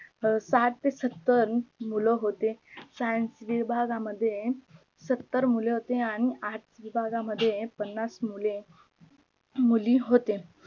साठ से सत्तर मुलं होते. SCIENCE विभागा मध्ये सत्तर मुले होते आणि ARTS विभागा मध्ये पन्नास मुले मुली होते